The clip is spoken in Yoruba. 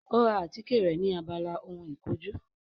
Ó ra àtíkè rẹ̀ ni abala ohun ìkojú